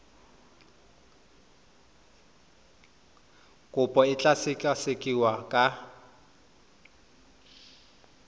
kopo e tla sekasekiwa ka